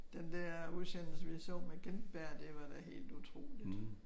Den dér udsendelse vi så med Gintberg det var da helt utroligt